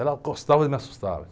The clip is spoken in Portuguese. Ela gostava e me assustava.